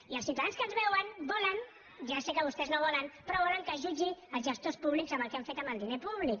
i els ciutadans que ens veuen volen ja sé que vostès no ho volen però que es jutgin els gestors públics pel que han fet amb el diner públic